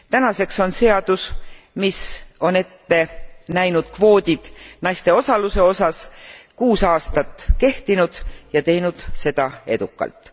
Tänaseks on seadus, mis on ette näinud kvoodid naiste osaluse osas, kuus aastat kehtinud ja teinud seda edukalt.